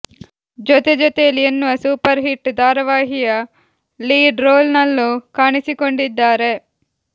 ಜೊತೆಜೊತೆಯಲಿ ಎನ್ನುವ super hit ಧಾರಾವಾಹಿಯ lead role ನಲ್ಲೂ ಕಾಣಿಸಿಕೊಂಡಿದ್ದಾರೆ